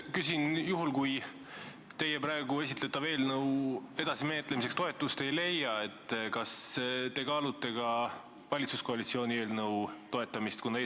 Küsin: juhul kui teie praegu esitletav eelnõu edasimenetlemiseks toetust ei leia, kas te kaalute ka valitsuskoalitsiooni eelnõu toetamist?